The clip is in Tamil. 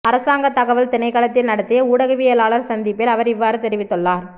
அரசாங்கத் தகவல் திணைக்களத்தில் நடத்திய ஊடகவியலாளர் சந்திப்பில் அவர் இவ்வாறு தெரிவித்துள்ளார்